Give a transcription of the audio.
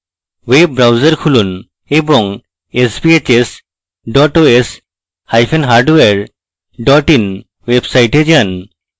web browser খুলুন এবং sbhs dot os hyphen hardware dot in ওয়েবসাইটে যান